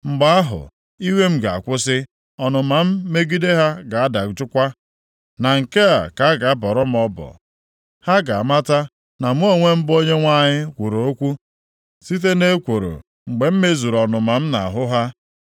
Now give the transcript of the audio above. “Mgbe ahụ, iwe m ga-akwụsị, ọnụma m megide ha ga-adajụkwa, na nke a ka a ga-abọrọ m ọbọ. Ha ga-amata na mụ onwe m bụ Onyenwe anyị kwuru okwu site nʼekworo mgbe m mezuru ọnụma m nʼahụ ha.